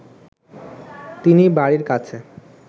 তিনি বাড়ির কাছে